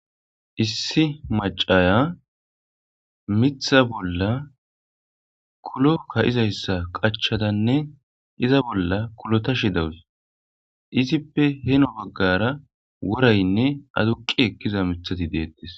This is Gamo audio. issi macaya mitha bolla kulo ka izayssa qachadanne iza bolla kulotashi dawus izippe heno baggara woraynne aduqi ekkiza mithati deettes